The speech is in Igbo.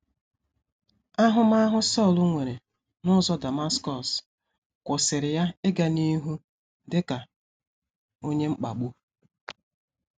Ahụmahụ Sọl nwere n’ụzọ Damaskọs kwụsịrị ya ịga n’ihu dị ka onye mkpagbu.